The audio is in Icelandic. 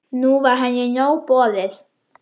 Nú var henni nóg boðið.